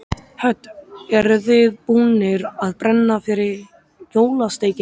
Hödd: Eruð þið búnir að brenna fyrir jólasteikinni?